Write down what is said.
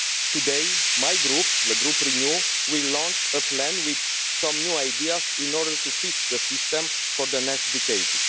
Today, my Group, the Renew Europe Group, will launch a plan with some new ideas in order to fix the system for the next decade.